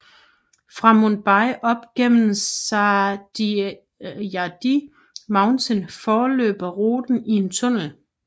Fra Mumbai op igennem Sahyadri Mountain forløber ruten i en tunnel